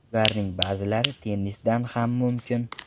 Ularning ba’zilari tennisdan ham mumkin”.